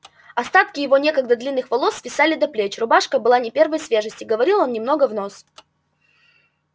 остатки его некогда длинных волос свисали до плеч рубашка была не первой свежести говорил он немного в нос